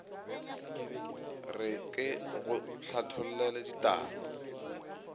re ke go hlathollele ditaba